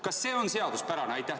Kas see on seaduspärane?